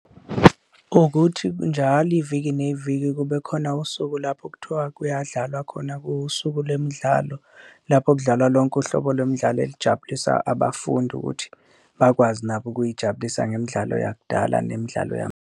Ukuthi njalo iviki neviki kube khona usuku lapho okuthiwa kuyadlalwa khona kuwusuku lwemidlalo, lapho kudlalwa lonke uhlobo lomdlalo elijabulisa abafundi ukuthi bakwazi nabo ukuy'jabulisa ngemidlalo yakudala nemidlalo .